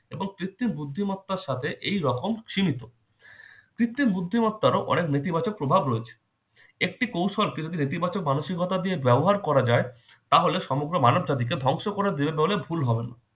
এবং কৃত্রিম বুদ্ধিমত্তার সাথে এইরকম সীমিত। কৃত্রিম বুদ্ধিমত্তারও অনেক নেতিবাচক প্রভাব রয়েছে। একটি কৌশল কিন্ত নেতিবাচক মানসিকতা দিয়ে ব্যবহার করা যায় তাহলে সমগ্র মানবজাতিকে ধ্বংস করে দিবে বলে ভুল হবে না।